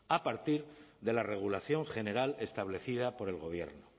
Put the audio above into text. a partir de la regulación general establecida por el gobierno